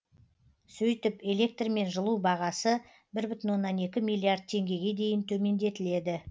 сөйтіп электр мен жылу бағасы бір бүтін оннан екі миллиард теңгеге дейін төмендетіледі